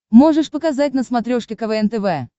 можешь показать на смотрешке квн тв